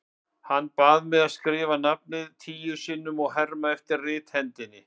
Hann bað mig að skrifa nafnið tíu sinnum og herma eftir rithendinni.